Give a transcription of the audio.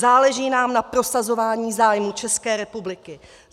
Záleží nám na prosazování zájmů České republiky.